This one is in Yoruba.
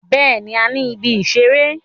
Bẹẹni, a ni ìbí isẹ̀rẹ̀.